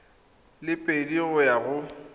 le pedi go ya go